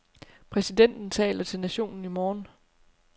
Præsidenten taler til nationen i morgen.